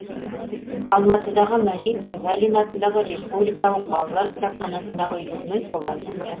алматыдағы мәжит бегалин атындағы республикалық балалар кітапханасындағы үйірме солардың бірі